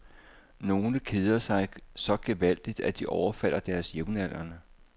Nogle keder sig så gevaldigt, at de overfalder deres jævnaldrende.